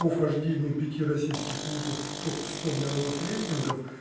по вхождению пяти российских вузов в топ сто мировых рейтингов